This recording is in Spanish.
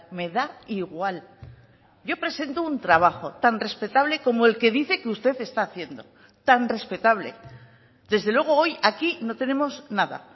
me da igual yo presento un trabajo tan respetable como el que dice que usted está haciendo tan respetable desde luego hoy aquí no tenemos nada